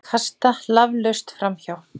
Kasta laflaust framhjá.